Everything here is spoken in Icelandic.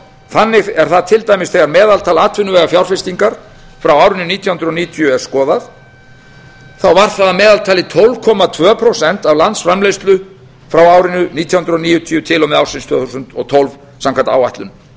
þannig er það til dæmis þegar meðaltal atvinnuvegafjárfestingar frá árinu nítján hundruð níutíu er skoðað var það að meðaltali tólf komma tvö prósent af landsframleiðslu frá árinu nítján hundruð níutíu til og með ársins tvö þúsund og tólf samkvæmt áætlun